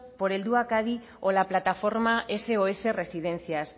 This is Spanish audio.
por el helduak adi o la plataforma sos residencias